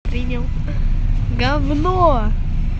принял говно